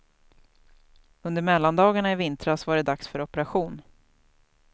Under mellandagarna i vintras var det dags för operation.